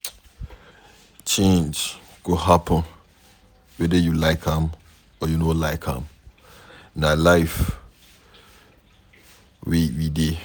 Change go happen weda you like am or you no like am na life we dey